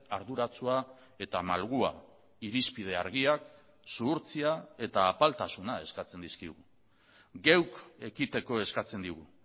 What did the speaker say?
arduratsua eta malgua irizpide argiak zuhurtzia eta apaltasuna eskatzen dizkigu geuk ekiteko eskatzen digu